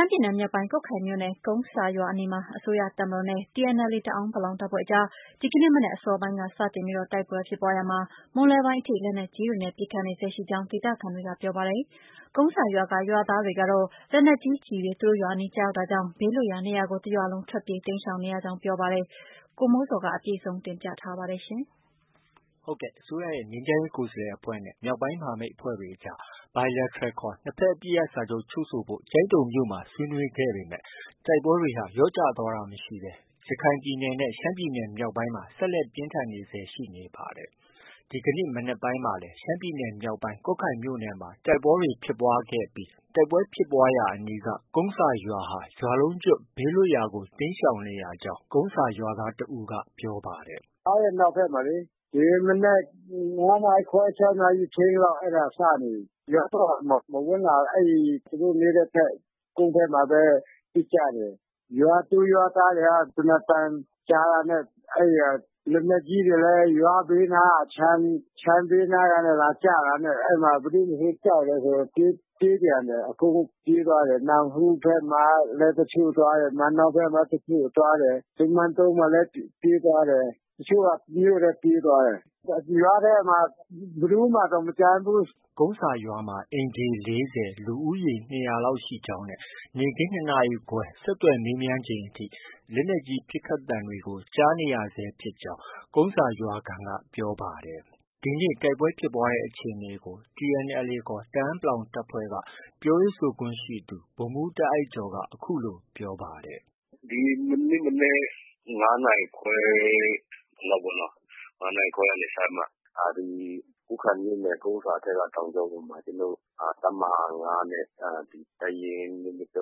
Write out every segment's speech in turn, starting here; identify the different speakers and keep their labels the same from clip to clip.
Speaker 1: မ်းပြည်နယ် မြောက်ပိုင်း ကွတ်ခိုင်မြို့နယ် ကုန်းဆာရွာအနီးမှာ အစိုးရတပ်မတော်နဲ့ TNLA တအန်း တပ်ဖွဲ့အကြား ဒီကနေ့ မနက် အစောပိုင်းက စတင်ပြီး တိုက်ပွဲဖြစ်ပွားရာမှာ မွန်းလွဲပိုင်းအထိ လက်နက်ကြီးတွေနဲ့ ပစ်ခတ်နေဆဲရှိကြောင်း ဒေသခံတွေက ပြောပါတယ်။ ကုန်းဆာရွာက ရွာသားတွေကတော့ လက်နက်ကြီးကျည်တွေ သူတို့ရွာအနီးကျရောက်တာကြောင့် ဘေးလွတ်ရာနေရာကို တစ်ရွာလုံး ထွက်ပြေး တိမ်းရှောင်နေရကြောင်း ပြောပါတယ်။ ဒီသတင်းကို ဗွီအိုအေမြန်မာပိုင်းရဲ့ သတင်းထောက် ကိုမိုးဇော်က တင်ပြထားပါတယ်။
Speaker 2: အစိုးရရဲ့ ငြိမ်းချမ်းရေး ကိုယ်စားလှယ်အဖွဲ့နဲ့ မြောက်ပိုင်းမဟာမိတ်အဖွဲ့တွေအကြား Bilateral ခေါ် နှစ်ဘက် အပစ်ရပ်စာချုပ် ချုပ်ဆိုဖို့ ကျိုင်းတုံမြို့မှာ ဆွေးနွေးခဲ့ပေမဲ့ တိုက်ပွဲတွေဟာ လျော့ကျသွားတာမရှိဘဲ ရခိုင်ပြည်နယ်နဲ့ ရှမ်းပြည်နယ်မြောက်ပိုင်းမှာ ဆက်လက်ပြင်းထန်နေဆဲ ရှိနေပါတယ်။ ဒီကနေ့ မနက်ပိုင်းမှာလည်း ရှမ်းပြည်နယ်မြောက်ပိုင်း ကွတ်ခိုင်မြို့နယ်မှာ တိုက်ပွဲတွေ ဖြစ်ပွားလာခဲ့ပြီး တိုက်ပွဲဖြစ်ပွားရာအနီးက ကုန်းဆာရွာဟာ ရွာလုံးကျွတ် ဘေးလွတ်ရာကို တိမ်းရှောင်နေရကြောင်း ကုန်းဆာရွာသား တဦးက ပ
Speaker 3: ြောပါတယ်။
Speaker 4: “ရွာရဲ့နောက်ဘက်မှာလေ။ ဒီနေ့ မနက် ၅ နာရီခွဲ၊ ၆ နာရီလောက်စနေပြီ။ ရွာတော့ မဝင်လာဘူး။ သူတို့ နေတဲ့ဘက် ကုန်းဘက်မှာပဲ ပစ်ကြတယ်။ ရွာသူ၊ ရွာသားတွေက သေနတ်သံကြားတာနဲ့ လက်နက်ကြီးတွေလည်း ရွာဘေးနားက ခြံ၊ ခြံဘေးနားကျတာနဲ့ ဘယ်သူမဆို ကြောက်တယ်ဆို ပြေးပြန်တယ်။ အကုန်ပြေးသွားတယ်။ နမ့်ဟူးဘက်မှာ တချို့ သွားတယ်။ မန်နောင်ဘက်မှာ တချို့ သွားတယ်။ မန်တုံမှာလည်း ပြေးသွားတယ်။ တချို့က မြို့ထဲ ပြေးသွားတယ်။ ရွာထဲမှာ ဘယ်သူမှ တောင် မကျန
Speaker 2: ်ဘူး။” ကုန်းဆာရွာမှာ အိမ်ခြေ ၄၀၊ လူဦးရေ ၂၀၀လောက်ရှိကြောင်းနဲ့နေ့ခင်း ၂ နာရီခွဲ ဆက်သွယ်မေးမြန်းချိန်အထိ လက်နက်ကြီး ပစ်ခတ်သံတွေကို ကြားနေရကြောင်းဆက် ကုန်းဆာရွာခံက ဆက်ပြောပါတယ်။ ဒီနေ့ တိုက်ပွဲဖြစ်ပွားတဲ့ အခြေအနေကို TNLA ခေါ် တအန်း တပ်ဖွဲ့က ပြောရေးဆိုခွင့်ရှိသူ ဗိုလ်မှုးတားအိုက်ကျော်က အခုလို ပြောပါ
Speaker 3: တယ်။ “ဒီကနေ့ မနက် ၅ နာရီခွဲလောက်ပေါ့နော။ ၅ နာရီခွဲကနေ စပြီးတော့မှာ ကွတ်ခိုင်မြို့နယ် ကုန်းဆာဘက်က တောင်ကြောပေါ်မှာ ကျနော်တို့ တပ်မဟာ ၅နဲ့ တပ်ရင်း ၂၂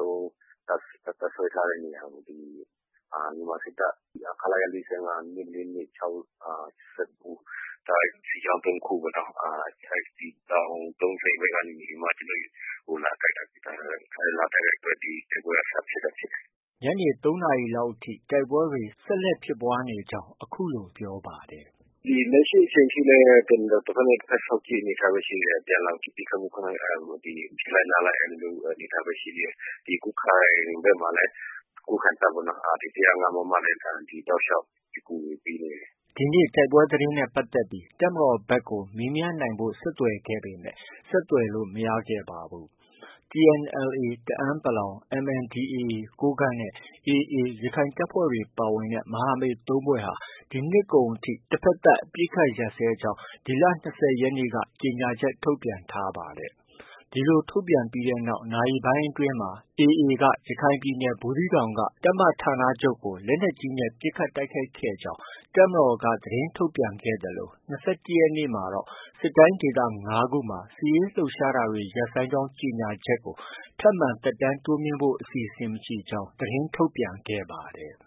Speaker 3: ၃ တပ်စွဲထားတဲ့ နေရာကို ဒီ မြန်မာစစ်တပ် ခလရ ၄၅၊ ၂၄၂၊ ၆၉ စစ်ကြောင်း ၃ ခုပေါ့နော်။ ဒီတောင် ၃၀ ဘက်ကနေပြီး ကျနော်တို့ကို လာတိုက်တာ။ လာတိုက်တဲ့အတွက် ဒီတိုက်ပွဲက စဖြစ်တာ ဖြစ်တယ်
Speaker 2: ။” ညနေ ၃နာရီလောက်အထိ တိုက်ပွဲတွေက ဆက်လက်ဖြစ်ပွားနေဆဲရှိကြောင်း ပြောပါတယ်။
Speaker 3: “လက်ရှိအချိန်ထိလည်း တဘက်နဲ့ တဘက် စောင့်ကြည့်အနေအထားပဲ ရှိတယ်။ အပြန်အလှန်ပစ်ခတ်မှု ပစ်လိုက်နားလိုက် အဲဒီအနေအထားပဲ ရှိသေးတယ်။ ကွတ်ခိုင်ဘက်မှာလည်း ဒီ ကွတ်ခိုင်တပ်ကလည်း ၁၀၅ မမနဲ့ တလျောက်ပစ်ကူတွေပေးနေတယ်
Speaker 2: ။” ဒီနေ့ တိုက်ပွဲသတင်းနဲ့ပတ်သက်ပြီး တပ်မတော်ဘက်ကို မေးမြန်းနိုင်ဖို့ ဆက်သွယ်ခဲ့ပေမဲ့ ဆက်သွယ်လို့ မရခဲ့ပါဘူး။ TNLA တအန်း ၊ MNDAA ကိုးကန့်နဲ့ AA ရခိုင်တပ်ဖွဲ့တွေ ပါဝင်တဲ့ မဟာမိတ် ၃ ဖွဲ့ဟာ ဒီနှစ်ကုန်အထိ တဘက်သတ် အပစ်ရပ်ကြောင်း ဒီလ ၂၀ ရက်နေ့က ကြေညာချက် ထုတ်ပြန်ထားပါတယ်။ ဒီလိုထုတ်ပြန်ပြီးနောက် နာရီပိုင်းအတွင်းမှာ AA က ရခိုင်ပြည်နယ် ဘူးသီးတောင်က တပ်မဌာနချုပ်ကို လက်နက်ကြီးနဲ့ ပစ်ခတ်တိုက်ခိုက်ခဲ့ကြောင်း တပ်မတော်က သတင်းထုတ်ပြန်ခဲ့သလို ၂၁ ရက်နေ့မှာတော့ စစ်တိုင်းဒေသ ၅ ခုမှာ စစ်ရေးလှုပ်ရှားတာတွေ ရပ်ဆိုင်းကြောင်း ကြေညာချက်ကို ထပ်မံသက်တမ်းတိုးမြှင့်ဖို့ အစီအစဉ် မရှိကြောင်း သတင်းထုတ်ပြန်ခဲ့ပ
Speaker 3: ါတယ်။